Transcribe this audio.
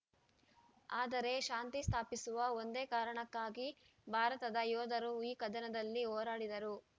ಆದರೆ ಶಾಂತಿ ಸ್ಥಾಪಿಸುವ ಒಂದೇ ಕಾರಣಕ್ಕಾಗಿ ಭಾರತದ ಯೋಧರು ಈ ಕದನದಲ್ಲಿ ಹೋರಾಡಿದರು